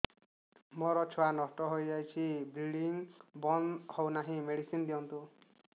ମୋର ଛୁଆ ନଷ୍ଟ ହୋଇଯାଇଛି ବ୍ଲିଡ଼ିଙ୍ଗ ବନ୍ଦ ହଉନାହିଁ ମେଡିସିନ ଦିଅନ୍ତୁ